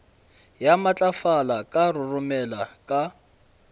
ya matlafala ka roromela ka